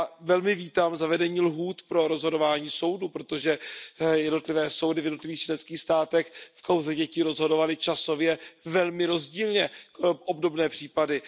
Velmi vítám zavedení lhůt pro rozhodování soudů, protože jednotlivé soudy v jednotlivých členských státech v kauze dětí rozhodovaly časově velmi rozdílně obdobné případy.